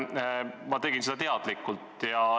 Toona ma tegin kõike teadlikult.